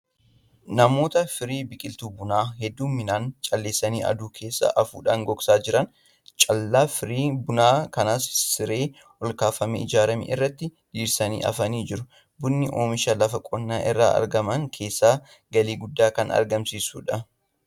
Namoota firii biqiltuu bunaa hedduumminaan calleessanii aduu keessa afuudhaan gogsaa jiran. Callaa firii bunaa kanas siree olkaafamee ijaarame irratti diriirsanii afanii jiru. Bunni oomisha lafa qonnaa irraa argaman keessaa galii guddaa kan argamsiisudha.